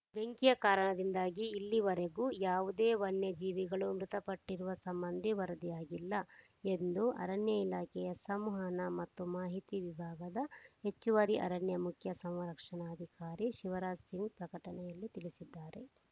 ಬೆಂಕಿಯ ಕಾರಣದಿಂದಾಗಿ ಇಲ್ಲಿವರೆಗೂ ಯಾವುದೇ ವನ್ಯ ಜೀವಿಗಳು ಮೃತಪಟ್ಟಿರುವ ಸಂಬಂಧಿ ವರದಿಯಾಗಿಲ್ಲ ಎಂದು ಅರಣ್ಯ ಇಲಾಖೆಯ ಸಂವಹನ ಮತ್ತು ಮಾಹಿತಿ ವಿಭಾಗ ಹೆಚ್ಚುವರಿ ಅರಣ್ಯ ಮುಖ್ಯ ಸಂರಕ್ಷಣಾಧಿಕಾರಿ ಶಿವರಾಜ್‌ ಸಿಂಗ್‌ ಪ್ರಕಟಣೆಯಲ್ಲಿ ತಿಳಿಸಿದ್ದಾರೆ